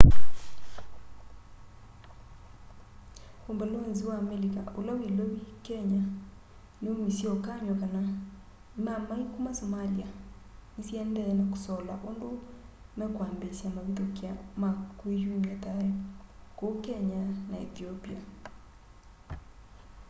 umbalonzi wa amelika ula wi ilovi kenya niumisye ukany'o kana imaamai kuma somalia ni siendee na kusola undu mekwambiisya mavithukia ma kwiyumya thayu ku kenya na ethiopia